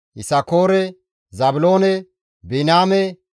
Yisakoore, Zaabiloone, Biniyaame,